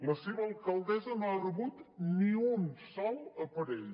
la seva alcaldessa no ha rebut ni un sol aparell